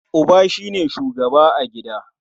Uba shi ne shugaba a gida.